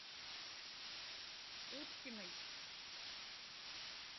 уткиной